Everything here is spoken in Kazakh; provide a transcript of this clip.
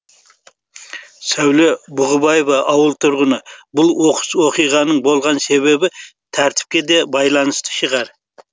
сәуле бұғыбаева ауыл тұрғыны бұл оқыс оқиғаның болған себебі тәртіпке де байланысты шығар